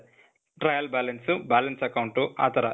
trial balance, balance account ಆ ಥರ.